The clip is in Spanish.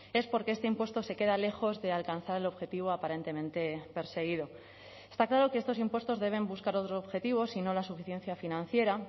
es porque este impuesto se queda lejos de alcanzar el objetivo aparentemente perseguido está claro que estos impuestos deben buscar otros objetivos y no la suficiencia financiera